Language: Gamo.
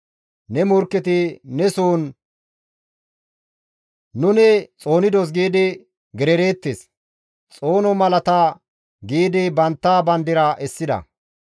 Ne morkketi ne soon, «Nuni xoonidos» giidi gerereettes. Xoono malata giidi bantta bandira essida.